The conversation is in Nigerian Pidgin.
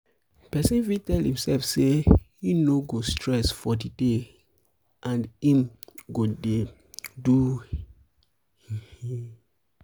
persin fit tell imself say im no go no go stress for di day and i'm go de do gege